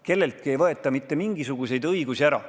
Kelleltki ei võeta mitte mingisuguseid õigusi ära.